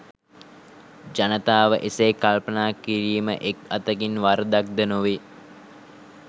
ජනතාව එසේ කල්පනා කිරිම එක් අතකින් වරදක් ද නොවේ